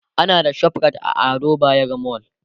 ana da ShopRite a Ado bayero mall